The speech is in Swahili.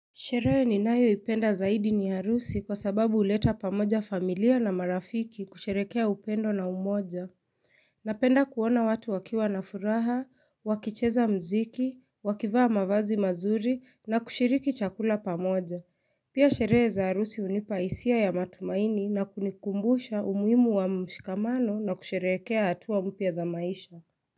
Sherege ninayo ipenda zaidi ni arusi kwa sababu uleta pamoja familia na marafiki kusherekea upendo na umoja. Napenda kuona watu wakiwa na furaha, wakicheza mziki, wakivaa mavazi mazuri na kushiriki chakula pamoja. Pia sherehe za harusi unipa hisia ya matumaini na kunikumbusha umuhimu wa mshikamano na kusherekea hatua mpya za maisha.